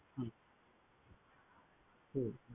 হুম হুম